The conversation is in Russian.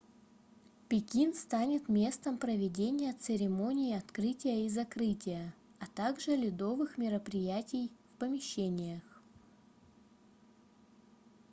пекин станет местом проведения церемоний открытия и закрытия а также ледовых мероприятий в помещениях